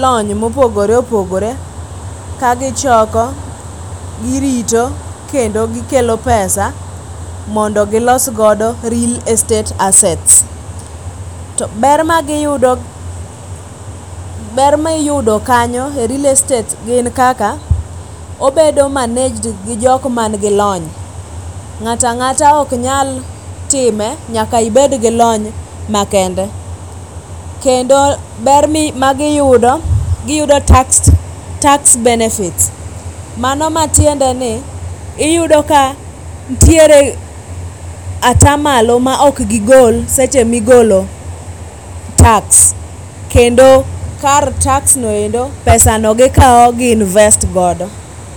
lony mopogore opogore kagichoko, girito kendo gikelo pesa mondo gilos godo real estate assets. To ber magiyudo, ber miyudo kanyo e real estate gin kaka obedo managed gi jokma nigi lony, ngata angata ok nyal time nyaka obed gi lony makende. Kendo ber ma giyudo ,giyudo tax, tax benefits mano matiendeni iyudo ka nitiere atamalo ma ok gigol seche migolo tax[sc]. Kendo kar tax noendo, pesano gikao gi invest godo.